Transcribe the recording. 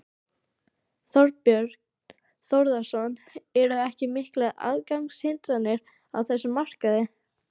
Þorbjörn Þórðarson: Eru ekki miklar aðgangshindranir á þessum markaði?